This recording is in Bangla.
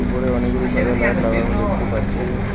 ওপরে অনেকগুলি সাদা লাইট লাগানো দেখতে পাচ্ছি।